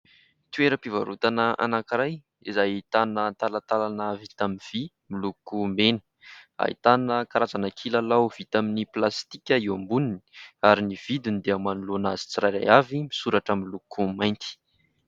Toeram-pivarotana anankiray izay ahitana talantalana vita amin'ny vy miloko mena. Ahitana karazana kilalao vita amin'ny plastika eo amboniny ary ny vidiny dia manoloana azy tsirairay avy, misoratra miloko mainty.